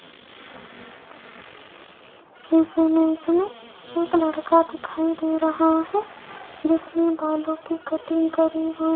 इस इमेज में एक लड़का दिखाई दे रहा है जिसने बालों की कटिंग करी हुई --